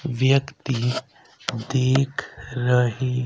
व्यक्ति देख रहे--